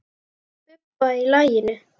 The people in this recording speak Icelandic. Bubba í laginu.